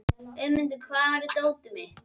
Auðmundur, hvar er dótið mitt?